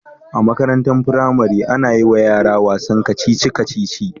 A Makarantan firari ana yiwa yara wasan kacici kacici